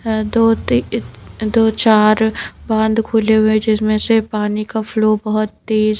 अ दोती दो चार बांध खुले हुएजिसमें से पानी का फ्लो बहुत तेज--